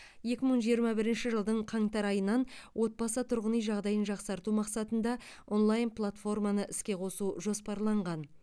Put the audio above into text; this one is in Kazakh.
екі мың жиырма бірінші жылдың қаңтар айынан отбасы тұрғын үй жағдайын жақсарту мақсатында онлайн платформаны іске қосу жоспарланған